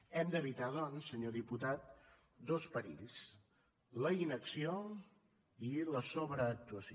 hem d’evitar doncs senyor diputat dos perills la inacció i la sobreactuació